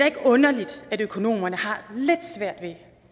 ikke underligt at økonomerne har lidt svært at